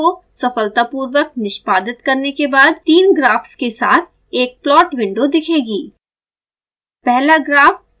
xcos file को सफलतापूर्वक निष्पादित करने के बाद तीन ग्राफ्स के साथ एक प्लाट विंडो दिखेगी